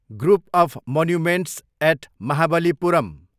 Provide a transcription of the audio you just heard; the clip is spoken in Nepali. group of monuments at Mahabalipuram